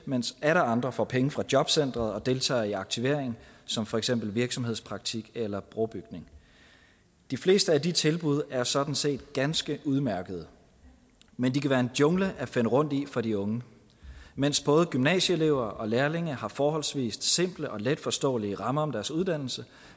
mens atter andre får penge fra jobcenteret og deltager i aktivering som for eksempel virksomhedspraktik eller brobygning de fleste af de tilbud er sådan set ganske udmærkede men de kan være en jungle at finde rundt i for de unge mens både gymnasieelever og lærlinge har forholdsvis simple og letforståelige rammer om deres uddannelse